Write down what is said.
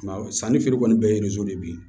Sannifeere kɔni bɛ ye bi